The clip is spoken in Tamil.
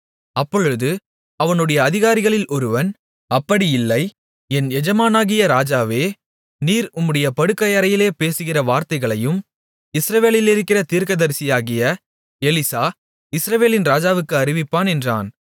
அப்பொழுது அவனுடைய அதிகாரிகளில் ஒருவன் அப்படியில்லை என் எஜமானாகிய ராஜாவே நீர் உம்முடைய படுக்கையறையிலே பேசுகிற வார்த்தைகளையும் இஸ்ரவேலிலிருக்கிற தீர்க்கதரிசியாகிய எலிசா இஸ்ரவேலின் ராஜாவிற்கு அறிவிப்பான் என்றான்